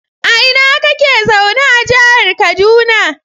A ina kake zaune a jihar kaduna?